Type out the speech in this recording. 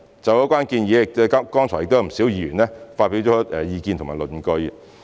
就有關建議，不少議員亦發表了意見及論據。